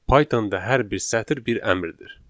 Pythonda hər bir sətir bir əmrdir.